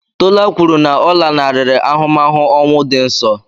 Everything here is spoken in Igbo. Tola kwuru na ọ lanarịrị ahụmahụ ọnwụ dị nso.